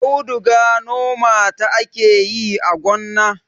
auduga noma ta ake yi a gonna